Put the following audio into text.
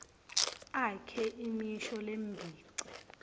akhe imisho lembici